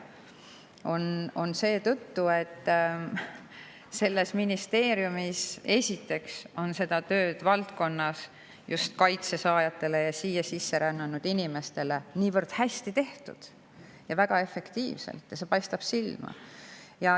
See on nii seetõttu, et selles ministeeriumis on seda tööd just kaitse saajate ja siia sisse rännanud inimeste seas niivõrd hästi ja väga efektiivselt tehtud ning see paistab silma.